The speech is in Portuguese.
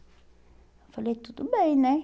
Eu falei, tudo bem, né?